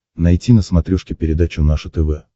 найти на смотрешке передачу наше тв